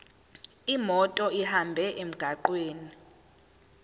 imoto ihambe emgwaqweni